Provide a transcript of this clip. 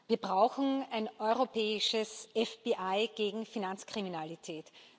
Wir brauchen ein europäisches FBI gegen Finanzkriminalität.